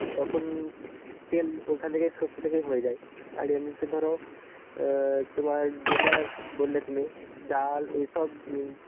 তখন তেল ওইখান থেকে সর্ষে থেকেই হয়ে যায়. আর এমনিতে ধরো অ্যাঁ তোমার যেটা বললে তুমি ডাল এসব